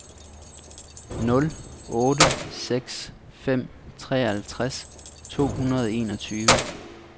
nul otte seks fem treoghalvtreds to hundrede og enogtyve